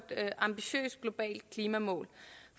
ambitiøst globalt klimamål